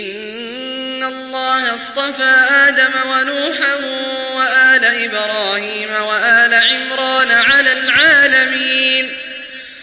۞ إِنَّ اللَّهَ اصْطَفَىٰ آدَمَ وَنُوحًا وَآلَ إِبْرَاهِيمَ وَآلَ عِمْرَانَ عَلَى الْعَالَمِينَ